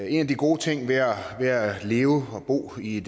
en af de gode ting ved at leve og bo i